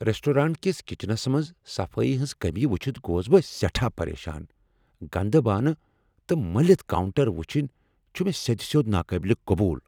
Restaurant کس کچنس منز صفایی ہنٛز کٔمی وچھِتھ گوس بہٕ سیٹھاہ پریشان۔ گندٕ بانہٕ تہٕ ملٕتۍ کاؤنٹر وٕچھن چھ سیدِ سیود ناقابل قبول۔